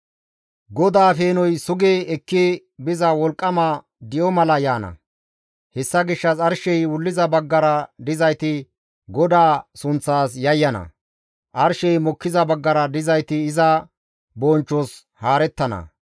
GODAA peenoy sugi ekki biza wolqqama di7o mala yaana. Hessa gishshas arshey wulliza baggara dizayti GODAA sunththas yayyana; arshey mokkiza baggara dizayti iza bonchchos haarettana.